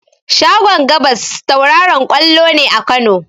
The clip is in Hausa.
Shagon gabas tauraron ƙwallo ne a Kano.